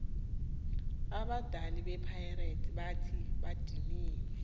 abadali bepirates bathi badiniwe